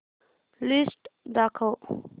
list दाखव